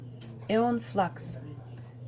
эон флакс